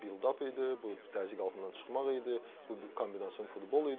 Yəni bu build-up idi, bu təzyiq altından çıxmaq idi, bu kombinasiyon futbol idi.